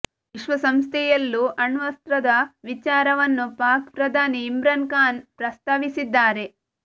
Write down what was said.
ವಿಶ್ವಸಂಸ್ಥೆಯಲ್ಲೂ ಅಣ್ವಸ್ತ್ರದ ವಿಚಾರ ವನ್ನು ಪಾಕ್ ಪ್ರಧಾನಿ ಇಮ್ರಾನ್ ಖಾನ್ ಪ್ರಸ್ತಾವಿಸಿದ್ದಾರೆ